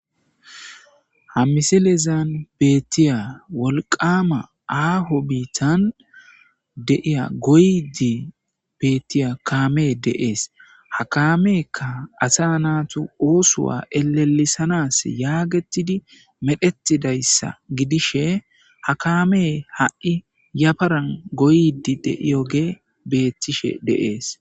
Ha misilezan beettiya wolqama aaho biitan de'iya goyyidii bettiya kaamey de'ees ha kaameykka asa naatu oosuwa elelisanas yaagettidi medhetidayssa gidishe haakame ha'i yafaran goyyidii de'iyoge beetishe de'ees